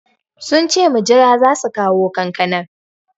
Sunce mujira zasu kawo kankanar